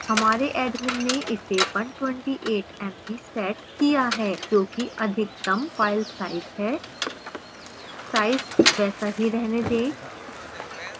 हमारे admin ने इसे 128mb set किया है जो कि अधिकतम file size है